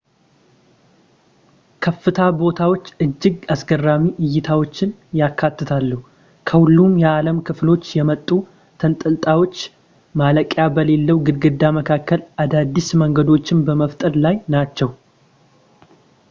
ከፍታ ቦታዎች እጅግ አስገራሚ እይታዎችን ያካትታሉ ከሁሉም የዓለም ክፍሎች የመጡ ተንጠላጣዮች ማለቂያ በሌለው ግድግዳ መካከል አዳዲስ መንገዶችን በመፍጠር ላይ ናቸው